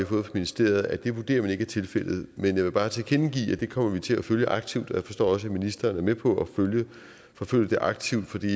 fra ministeriet at det vurderer man ikke er tilfældet men jeg vil bare tilkendegive at vi kommer til at følge det aktivt og jeg forstår også at ministeren er med på at følge det aktivt for det